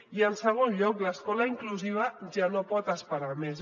i en segon lloc l’escola inclusiva ja no pot esperar més